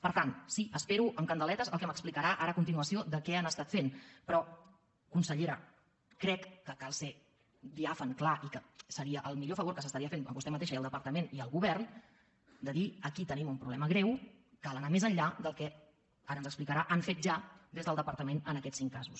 per tant sí espero amb candeletes el que m’explicarà ara a continuació sobre què han estat fent però consellera crec que cal ser diàfan clar i que seria el millor favor que s’estaria fent a vostè mateixa i al departament i al govern dir aquí tenim un problema greu cal anar més enllà del que ara ens ho explicarà han fet ja des del departament en aquests cinc casos